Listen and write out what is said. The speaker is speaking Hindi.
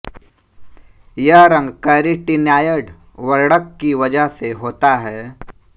यह रंग कैरेटिनॉयड वर्णक की वजह से होता है